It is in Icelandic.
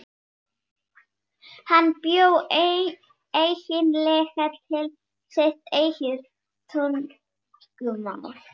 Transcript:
Hann bjó eiginlega til sitt eigið tungumál.